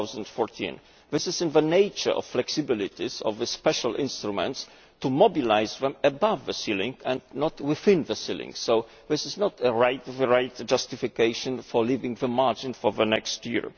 2014. It is in the nature or flexibilities of special instruments to mobilise them above the ceiling and not within the ceiling, so this is not the right justification for leaving the margins for the next year.